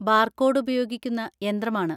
Barcode ഉപയോഗിക്കുന്ന യന്ത്രമാണ്.